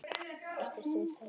Eftir því var tekið.